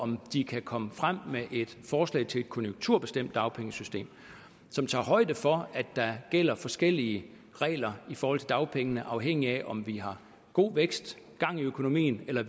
om de kan komme frem med et forslag til et konjunkturbestemt dagpengesystem som tager højde for at der gælder forskellige regler i forhold til dagpengene afhængigt af om vi har god vækst og gang i økonomien eller